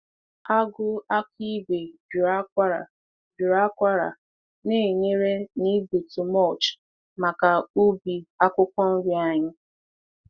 Agụ aka ígwè juru akwara juru akwara na-enyere n’ịgbutu mulch maka ubi akwukwo nri anyị.